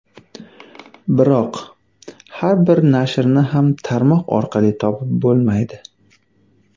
Biroq, har bir nashrni ham tarmoq orqali topib bo‘lmaydi.